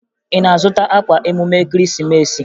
Ị na-azụta akwa emume Ekeresimeesi?